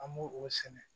An b'o o sɛnɛ